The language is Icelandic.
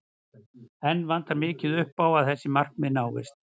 Enn vantar mikið upp á að þessi markmið náist.